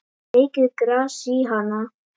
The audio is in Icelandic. Mikið gras er í Hana.